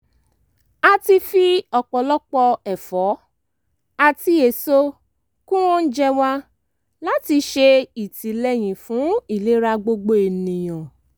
a ti fi ọ̀pọ̀lọpọ̀ ẹ̀fọ́ àti èso kún oúnjẹ wa láti ṣe ìtìlẹ́yìn fún ìlera gbogbo ènìyàn